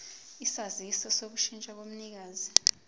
isaziso sokushintsha komnikazi